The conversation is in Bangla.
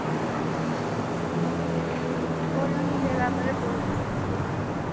বললো নিজের ব্যাপারে বলতে, বললাম।